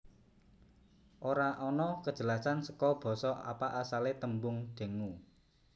Ora ana kejelasan saka basa apa asale tembung dengue